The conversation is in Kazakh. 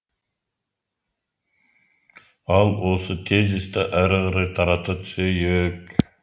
ал осы тезисті әрі қарай тарата түсейік